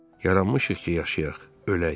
Yaranmışıq ki, yaşayaq, ölək.